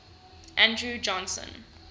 andrew johnson